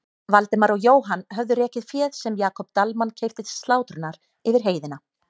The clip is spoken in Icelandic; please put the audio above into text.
Valdimar og Jóhann höfðu rekið féð sem Jakob Dalmann keypti til slátrunar yfir heiðina.